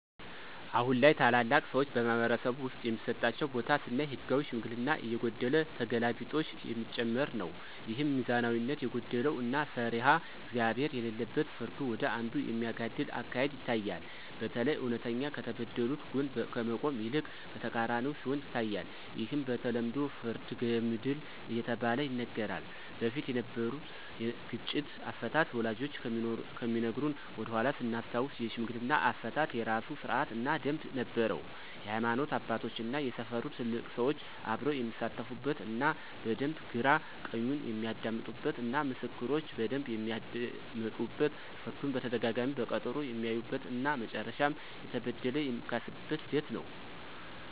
አሁን ላይ ታላላቅ ሰዎች በማኅበረሰብ ውስጥ የሚሰጣቸው ቦታ ስናይ ህጋዊ ሽምግልና እየጎደለ ተገላቢጦሽ የሚጨመር ነው። ይህም ሚዛናዊነት የጎደለው እና ፈሪሃ እግዚአብሄር የሌለበት ፍርዱ ወደ አንዱ የሚያጋድል አካሄድ ይታያል። በተለይ እውነተኛ ከተበደሉት ጎን ከመቆም ይልቅ በተቃራኒው ሲሆን ይታያል። ይህም በተለምዶ ፍርደ ገምድል እየተባለ ይነገራል። በፊት የነበሩት ግጭት አፈታት ወላጆቻችን ከሚነግሩን ወደኃላ ስናስታውስ የሽምግልና አፈታት የራሱ ስርአት እና ደምብ ነበረው የሀይማኖት አባቶች እና የሰፈሩ ትልልቅ ሰዎች አብረው የሚሳተፉበት እና በደንብ ግራ ቀኙን የሚያደምጡበት እና ምስክሮች በደንብ የሚደመጡበት ፍርዱን በተደጋጋሚ በቀጠሮ የሚያዩበት እና መጨረሻም የተበደለ የሚካስበት ሂደት ነው።